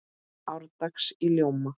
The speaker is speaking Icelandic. árdags í ljóma